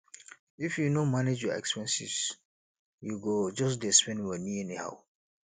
if you no manage your expenses you go just dey spend moni anyhow